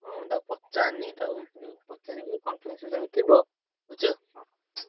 ହଁ ମୁଁ ତାକୁ ପଚାରିନି ତାକୁ ଉଁ ପଚାରିବି conference ରେ ତମେ ଥିବ ବୁଝୁଛ